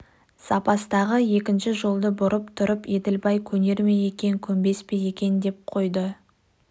запастағы екінші жолды бұрып тұрып еділбай көнер ме екен көнбес пе екен деп қойды